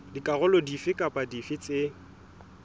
dikarolo dife kapa dife tse